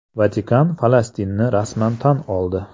Vatikan Falastinni rasman tan oldi.